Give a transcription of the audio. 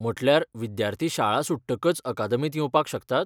म्हटल्यार विद्यार्थी शाळा सुट्टकच अकादेमींत येवपाक शकतात?